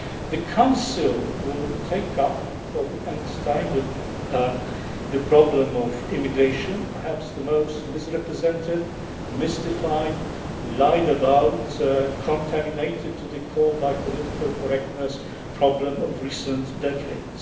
The Council will take up for the nth time the problem of immigration perhaps the most misrepresented, mystified, lied about, contaminated to the core by political correctness, problem of recent decades.